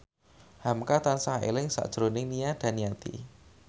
hamka tansah eling sakjroning Nia Daniati